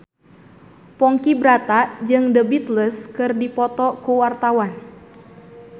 Ponky Brata jeung The Beatles keur dipoto ku wartawan